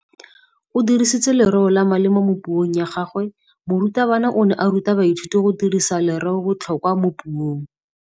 O dirisitse lerêo le le maleba mo puông ya gagwe. Morutabana o ne a ruta baithuti go dirisa lêrêôbotlhôkwa mo puong.